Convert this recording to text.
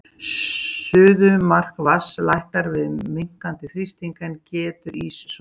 Suðumark vatns lækkar við minnkandi þrýsting, en getur ís soðið?